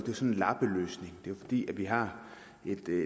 lappeløsning fordi vi har